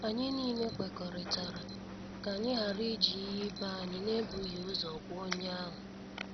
Anyị niile kwekọrịtara ka anyị ghara iji ihe ibé anyị na e bụghị ụzọ gwa onye ahụ.